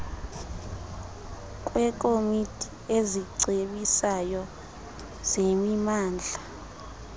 kwekomiti ezicebisayo zemimandla